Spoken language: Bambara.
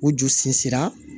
U ju sinsin a